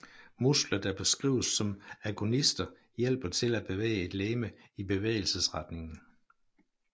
Muskler der beskrives som agonister hjælper til at bevæge et legeme i bevægelsesretningen